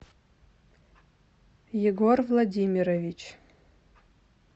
егор владимирович